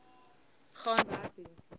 gaan werk toe